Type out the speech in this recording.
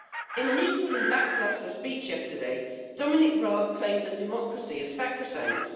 In an equally lacklustre speech yesterday Dominic Raab claimed that democracy is sacrosanct.